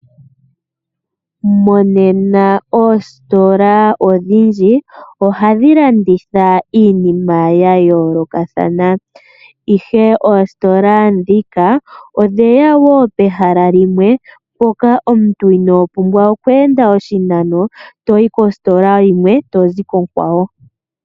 Monena oositola odhindji ohadhi landitha iinima ya yolokathana. Ihe oositola dhika odheya wo pehala limwe mpoka omuntu ino pumbwa okwe enda oshinano toyi kositola yimwe tozi konkawo.